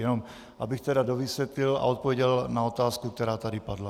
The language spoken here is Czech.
Jenom abych tedy dovysvětlil a odpověděl na otázku, která tady padla.